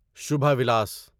شبہ ولاس